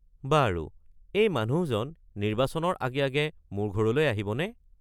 বাৰু, এই মানুহজন নিৰ্বাচনৰ আগে আগে মোৰ ঘৰলৈ আহিবনে?